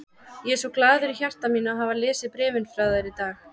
Ég er svo glaður í hjarta mínu að hafa lesið bréfin frá þér í dag.